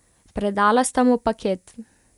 Predala sta mu paket.